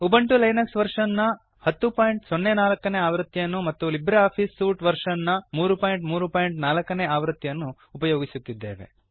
Ubuntu Linux version ನ 1004 ಆವೃತ್ತಿಯನ್ನು ಮತ್ತು ಲಿಬ್ರಿಆಫಿಸ್ ಸೂಟ್ ವರ್ಷನ್ ನ 334 ಆವೃತ್ತಿಯನ್ನು ಉಪಯೋಗಿಸುತ್ತಿದ್ದೇವೆ